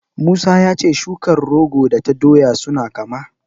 Musa ya ce shukar rogo da ta doya suna kama.